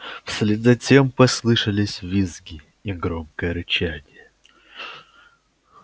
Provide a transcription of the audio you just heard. вслед за тем послышались визги и громкое рычание